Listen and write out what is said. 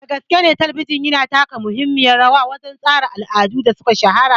Gaskiyane Talabijin tana taka muhimmiyar rawa wajen tsara al'adun da suka shahara.